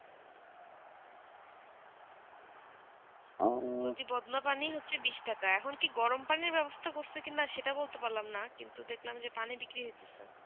বলছি বদনা পানি হচ্ছেই বিষ টাকা আখন কি গরম পানি বেবস্তা করতেছি না কি সেটা বলতে পারলাম না কিন্তু দেখলাম যে পানি বিক্রি হোচেটে